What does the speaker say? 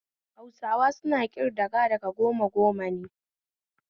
Hausawa suna kridaga da goma goma ne